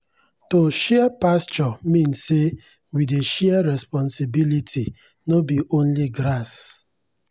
to share pasture mean say we dey share responsibility no be only grass.